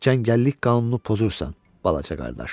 Cəngəllik qanunu pozursan, balaca qardaş.